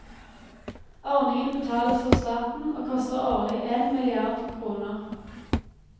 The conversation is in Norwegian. Ordningen betales av staten og koster årlig én milliard kroner.